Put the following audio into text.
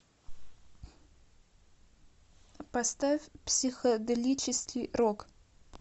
поставь психоделический рок